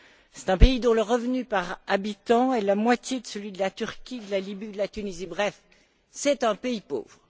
C'est un pays dont le revenu par habitant est la moitié de celui de la Turquie, de la Libye, de la Tunisie, bref, c'est un pays pauvre.